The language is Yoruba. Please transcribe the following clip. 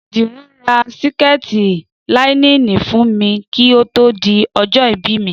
Dìran ra síkètì láínìnì fún mi kí ó tó di ọjọ́ ìbí mi